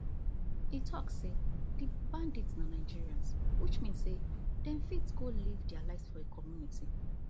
e tok say di bandits na nigerians which mean say dem fit go live dia lives for community